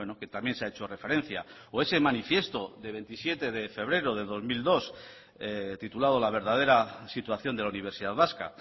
que también se ha hecho referencia o ese manifiesto de veintisiete de febrero de dos mil dos titulado la verdadera situación de la universidad vasca